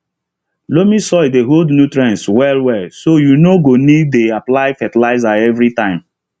loamy soil dey hold nutrients well well so you no go need dey apply fertilizer every time